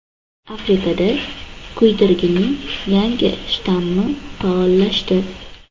Afrikada kuydirgining yangi shtammi faollashdi.